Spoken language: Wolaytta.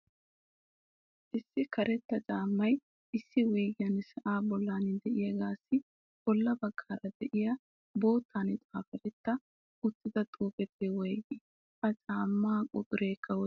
Issi karetta caammay issi wuyggen sa'a bollan de'iyaassi bolla bagggaara de'iya boottan xaaferti uttida xuufee woyggi? Ha caamma quxurekka woysse?